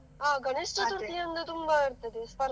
ಹಾ ಗಣೇಶ ಚತುರ್ಥಿಯಂದ್ರೆ ತುಂಬಾ ಇರ್ತದೆ ಸ್ಪರ್ಧೆ.